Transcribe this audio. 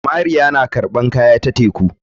Mariya na karɓan kaya ta teku.